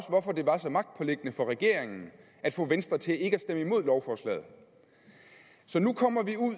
hvorfor det var så magtpåliggende for regeringen at få venstre til ikke at stemme imod lovforslaget så nu kommer vi